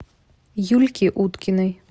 юльке уткиной